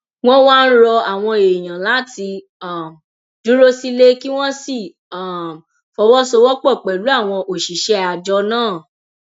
wọn wá ń rọ àwọn èèyàn láti um dúró sílé kí wọn sì um fọwọsowọpọ pẹlú àwọn òṣìṣẹ àjọ náà